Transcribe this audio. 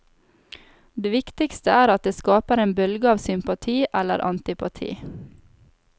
Det viktigste er at det skaper en bølge av sympati eller antipati.